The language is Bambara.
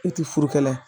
E ti furu kɛ la ye